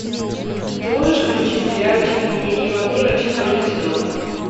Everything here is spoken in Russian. ты можешь включить сериальчик дневники вампира четвертый сезон